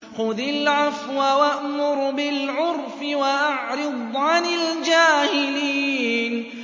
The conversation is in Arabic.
خُذِ الْعَفْوَ وَأْمُرْ بِالْعُرْفِ وَأَعْرِضْ عَنِ الْجَاهِلِينَ